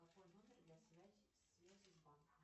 какой номер для связи с банком